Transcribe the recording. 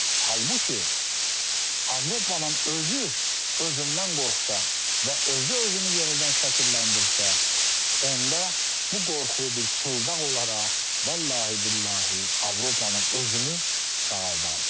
Halbuki Avropanın özü özündən qorxsa və özü özünü yenidən şəkilləndirsə, onda bu qorxu bir çıldaq olaraq vallahi billahi Avropanın özünü sağaldardı.